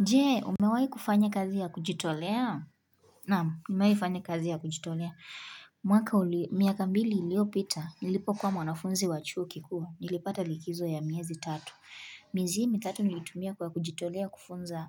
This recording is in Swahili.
Je, umewahi kufanya kazi ya kujitolea? Naam, nimewahi fanya kazi ya kujitolea. Mwaka, miaka mbili iliopita. Nilipokuwa mwanafunzi wa chuo kikuu, nilipata likizo ya miezi tatu. Miezi hii mitatu nilitumia kwa kujitolea kufunza